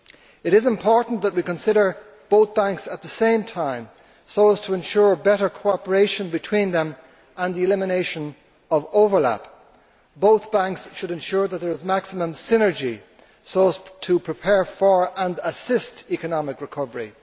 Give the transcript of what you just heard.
It is important that we consider both banks at the same time, so as to ensure better cooperation between them and the elimination of overlap. Both banks should ensure that there is maximum synergy so as to prepare for and assist economic recovery.